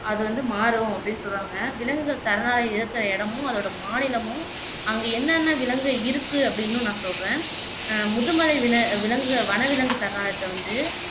அது வந்து மாறும் அப்படின்னு சொல்லுறாங்க விலங்குகள் சரணாலயம் இருக்குற இடமும் அதோட மாநிலமும் அங்க என்னன்ன விலங்குகள் இருக்கு அப்படின்னும் நான் சொல்லுறேன் அஹ் முதுமலை வின விலங்குகள் வனவிலங்கு சரணாலயத்தை வந்து